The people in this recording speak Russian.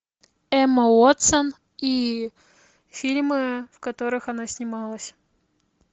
эмма уотсон и фильмы в которых она снималась